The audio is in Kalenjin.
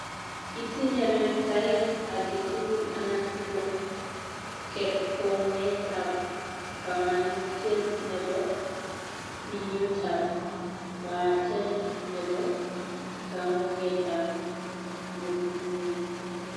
Itinye reertaet agetugul anan ko kerkoong'etap kamanutiet ne po piiyuutap baaten ne po kaamuuketap metinyin